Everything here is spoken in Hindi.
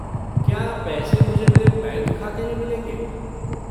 क्या पैसे मुझे मेरे बैंक खाते में मिलेंगे?